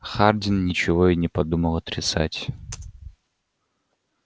хардин ничего и не подумал отрицать